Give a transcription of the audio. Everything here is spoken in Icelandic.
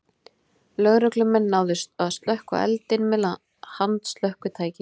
Lögreglumenn náðu slökkva eldinn með handslökkvitæki